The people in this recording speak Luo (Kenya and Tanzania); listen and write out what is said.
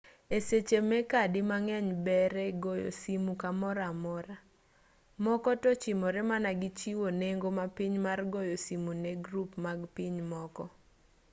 e seche me kadi mang'eny ber e goyo simu kamoro amora moko to ochimore mana gi chiwo nengo mapiny mar goyo simu ne grup mag pinje moko